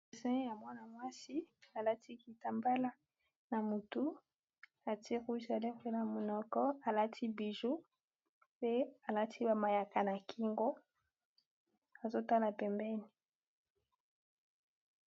esin ya mwana mwasi alati kitambala na motu ati rousea degreya monoko alati bijou pe alati bamayaka na kingo azotala pembeni